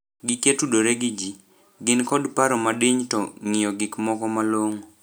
Gikya tudore gi ji, gin kod paro madiny to ng'io gik moko malong'o